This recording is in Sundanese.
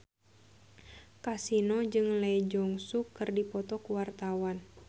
Kasino jeung Lee Jeong Suk keur dipoto ku wartawan